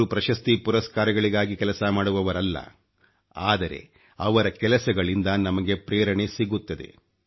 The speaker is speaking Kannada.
ಅವರು ಪ್ರಶಸ್ತಿ ಪುರಸ್ಕಾರಗಳಿಗೆ ಕೆಲಸ ಮಾಡುವವರಲ್ಲ ಆದರೆ ಅವರ ಕೆಲಸಗಳಿಂದ ನಮಗೆ ಪ್ರೇರಣೆ ಸಿಗುತ್ತದೆ